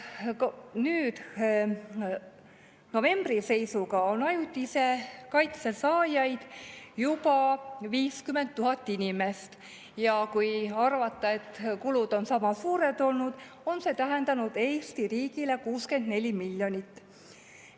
Novembri seisuga on ajutise kaitse saajaid juba 50 000 inimest ja kui arvata, et kulud on sama suured olnud, siis on see tähendanud Eesti riigile 64 miljonit.